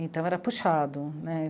Então era puxado né.